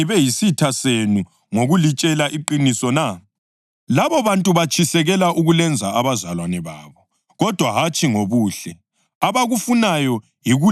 Labobantu batshisekela ukulenza abazalwane babo, kodwa hatshi ngobuhle. Abakufunayo yikulehlukanisa lathi ukuze litshisekele bona.